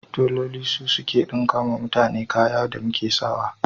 Teloli su suke ɗinka mana kayan da muk sa wa.